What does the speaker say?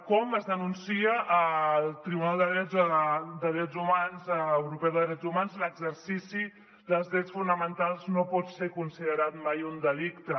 com es denuncia al tribunal europeu de drets hu·mans l’exercici dels drets fonamentals no pot ser considerat mai un delicte